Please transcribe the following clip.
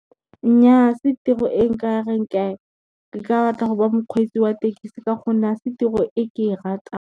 Nnyaa se tiro e nka reng nka batla go ba mokgweetsi wa tekesi ka gonne a se tiro e ke e ratang.